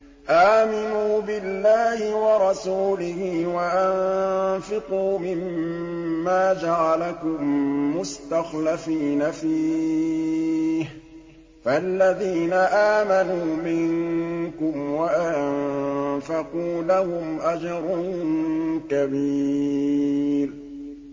آمِنُوا بِاللَّهِ وَرَسُولِهِ وَأَنفِقُوا مِمَّا جَعَلَكُم مُّسْتَخْلَفِينَ فِيهِ ۖ فَالَّذِينَ آمَنُوا مِنكُمْ وَأَنفَقُوا لَهُمْ أَجْرٌ كَبِيرٌ